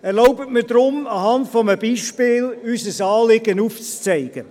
Erlauben Sie mir deshalb, unser Anliegen an einem Beispiel aufzuzeigen.